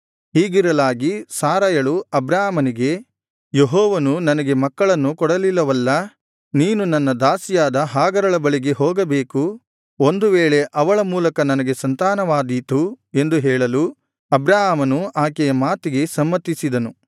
ಹೀಗಿರಲಾಗಿ ಸಾರಯಳು ಅಬ್ರಾಮನಿಗೆ ಯೆಹೋವನು ನನಗೆ ಮಕ್ಕಳನ್ನು ಕೊಡಲಿಲ್ಲವಲ್ಲಾ ನೀನು ನನ್ನ ದಾಸಿಯಾದ ಹಾಗರಳ ಬಳಿಗೆ ಹೋಗಬೇಕು ಒಂದು ವೇಳೆ ಅವಳ ಮೂಲಕ ನನಗೆ ಸಂತಾನವಾದೀತು ಎಂದು ಹೇಳಲು ಅಬ್ರಾಮನು ಆಕೆಯ ಮಾತಿಗೆ ಸಮ್ಮತಿಸಿದನು